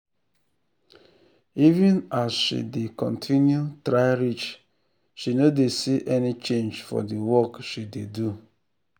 even as she dey continue try reach she no dey see any change for the work she dey do